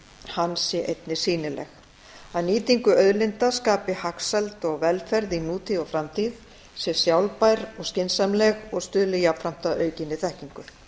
hans sé einnig sýnileg af nýtingu auðlinda skapist hagsæld og velferð í nútíð og framtíð sé sjálfbær og skynsamleg og stuðli jafnframt að aukinni þekkingu